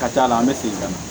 Ka d'a kan an bɛ segin ka na